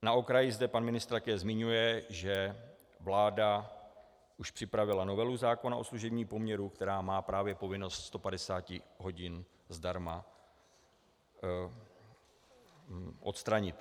Na okraji zde pan ministr také zmiňuje, že vláda už připravila novelu zákona o služebním poměru, která má právě povinnost 150 hodin zdarma odstranit.